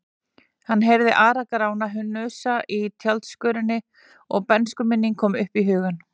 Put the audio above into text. Hann heyrði Ara-Grána hnusa af tjaldskörinni og bernskuminning kom upp í hugann.